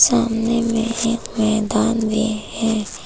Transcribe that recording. सामने में एक मैदान भी है।